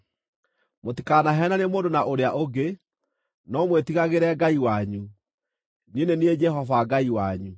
Mũtikanaheenanie mũndũ na ũrĩa ũngĩ, no mwĩtigagĩre Ngai wanyu. Niĩ nĩ niĩ Jehova Ngai wanyu.